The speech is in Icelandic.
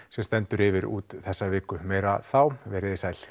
sem stendur yfir út þessa viku meira þá veriði sæl